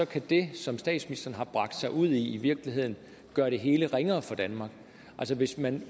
kan det som statsministeren har bragt sig ud i i virkeligheden gøre det hele ringere for danmark hvis man